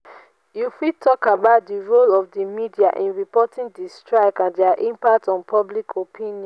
you fit talk about di role of di media in reporting di strike and dia impact on public opinion.